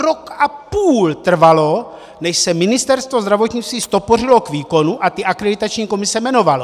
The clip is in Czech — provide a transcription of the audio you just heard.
Rok a půl trvalo, než se Ministerstvo zdravotnictví ztopořilo k výkonu a ty akreditační komise jmenovalo.